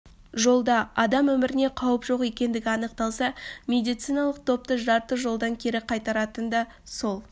жолда адам өміріне қауіп жоқ екендігі анықталса медициналық топты жарты жолдан кері қайтаратын да сол